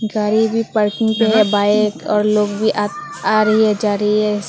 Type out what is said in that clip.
गाड़ी भी पार्किंग पे है बाइक और लोग भी आ रही है जा रही है ऐसे।